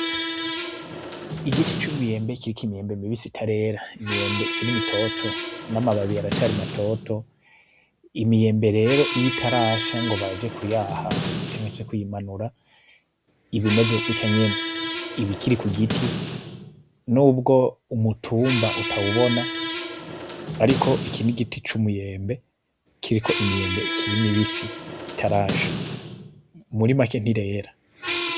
Igiti c'umwembe kiriko imyembe mibisi itarera, imyembe ikiri mitoto; n'amababi aracari matoto, imyembe rero iy'itarasha ngo baje kuyaha canke se kuyimanura iba imeze gucya nyene, ib'ikiri ku giti nubwo umutumba utawubona ariko iki n'igiti c'umwembe kiriko imyembe ikiri mibisi itarasha, muri make ntirera.